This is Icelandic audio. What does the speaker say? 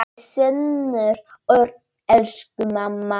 Þinn sonur Örn. Elsku mamma.